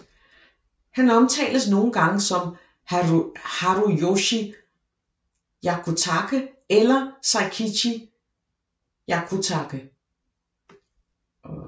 Han omtales nogle gange som Haruyoshi Hyakutake eller Seikichi Hyakutake